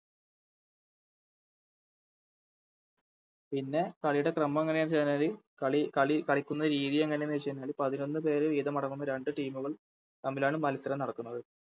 പിന്നെ കളിയുടെ ക്രമമം എങ്ങനെയെന്ന് വെചായ്ഞ്ഞല് കളി കളി കളിക്കുന്നെ രീതി എങ്ങനെയാന്ന് വെച്ചയിഞ്ഞാല് പതിനൊന്ന് പേര് വീതമടങ്ങുന്ന രണ്ട് Team ഉകൾ തമ്മിലാണ് മത്സരം നടക്കുന്നത്